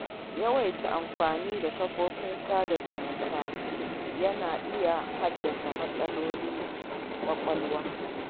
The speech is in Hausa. Yawaitar amfani da kafofin sada zumunta na iya haddasa matsalar kwakwalwa.